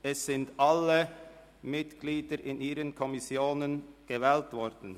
Es sind alle vorgeschlagenen Mitglieder in die entsprechenden Kommissionen gewählt worden.